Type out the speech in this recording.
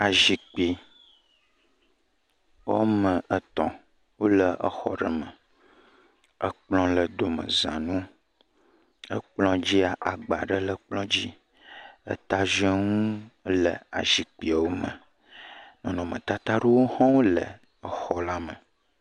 Azikpui wɔme etɔ̃ wo le exɔ aɖe me. Ekplɔ le domeza na wo. Ekplɔa dzi agba aɖe le ekplɔ dzi. Etaziɔnu le azikpuiawo me. Nɔnɔmetata aɖewo hã wole exɔ la me.